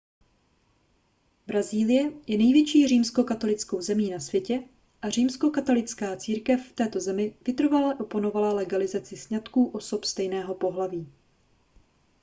brazílie je největší římskokatolickou zemí na světě a římskokatolická církev v této zemi vytrvale oponovala legalizaci sňatků osob stejného pohlaví